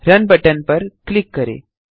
run button पर click करें